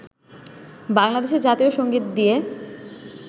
বাংলাদেশের জাতীয় সংগীত দিয়ে